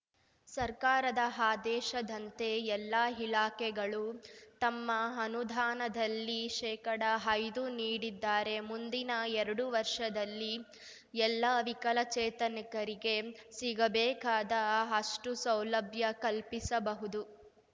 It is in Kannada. ಸರ್ಕಾರದ ಆದೇಶದಂತೆ ಎಲ್ಲಾ ಇಲಾಖೆಗಳೂ ತಮ್ಮ ಅನುದಾನದಲ್ಲಿ ಶೇಕಡಐದು ನೀಡಿದ್ದಾರೆ ಮುಂದಿನ ಎರಡು ವರ್ಷದಲ್ಲಿ ಎಲ್ಲಾ ವಿಕಲಚೇತನಿಕರಿಗೆ ಸಿಗಬೇಕಾದ ಅಷ್ಟೂಸೌಲಭ್ಯ ಕಲ್ಪಿಸಬಹುದು